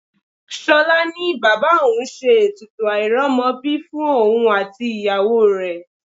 Ṣolá ní bàbá òun ṣe ètùtù airomobi fún òun àti ìyàwó rẹ.